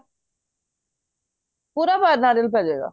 ਪੂਰਾ ਨਾਰੀਅਲ ਪੈ ਜੇ ਗਾ